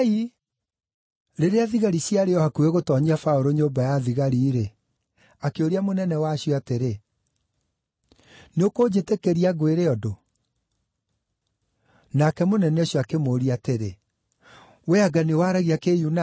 Rĩrĩa thigari ciarĩ o hakuhĩ gũtoonyia Paũlũ nyũmba ya thigari-rĩ, akĩũria mũnene wacio atĩrĩ, “Nĩũkũnjĩtĩkĩria ngwĩre ũndũ?” Nake mũnene ũcio akĩmũũria atĩrĩ, “Wee anga nĩwaragia Kĩyunani?